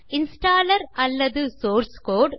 installer அல்லது source கோடு